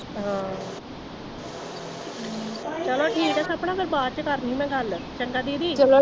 ਚਲੋ ਠੀਕ ਆ ਸਪਨਾ ਫਿਰ ਬਾਅਦ ਚ ਕਰਦੀ ਮੈ ਗੱਲ ਚੰਗਾ ਦੀਦੀ